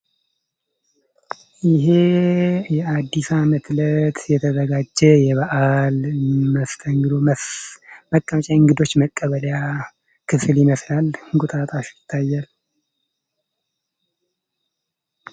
ይሄ የአዲስ አመት እለት የተዘጋጀ የበዓል መሰተንግዶ የእንግዶች መቀበያ ክፍል ይመስላል እንቁጣጣሽ ይታያል።